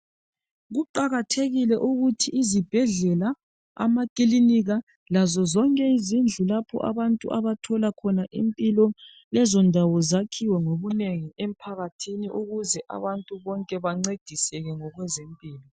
Kuqakathekile ukuthi izibhedlela, amakilinika lazo zonke izindlu lapho abantu abathola khona impilo lezo ndawo zakhiwe ngobunengi emphakathini ukuze abantu bonke bancediseke ngokwezempilo